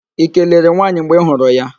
Ị kelere nwaanyị mgbe ị hụrụ ya?